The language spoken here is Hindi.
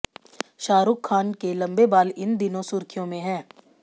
शाहरुख खान के लंबे बाल इन दिनों सुर्खियों में हैं